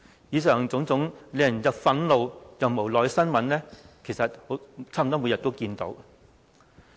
以上種種令人憤怒又無奈的新聞，我們差不多每天都看到。